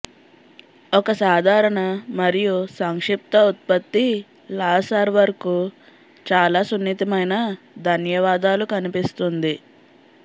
ఒక సాధారణ మరియు సంక్షిప్త ఉత్పత్తి లాసర్వర్కు చాలా సున్నితమైన ధన్యవాదాలు కనిపిస్తుంది